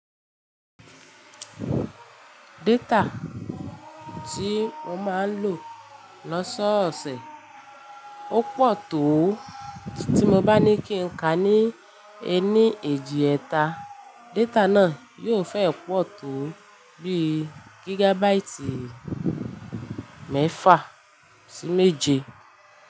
Data tí mo máa ń lò lọ́sọ̀ọ̀sẹ̀ ó pọ̀ tó tí mo bá ní kí n ka ní ẹní eéjì ẹ̀ta. Data náà yiò fẹ́ pọ̀ tó bí gígàbáìtì mẹ́fà sí méje.